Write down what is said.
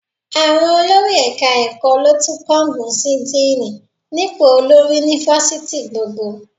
Àwọn olórí ẹ̀ka-ẹ̀kọ́ ló tún kángun sí díìnì nípò olórí ni fásitì gbogbo